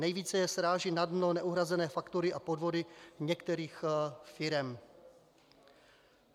Nejvíce je srážejí na dno neuhrazené faktury a podvody některých firem.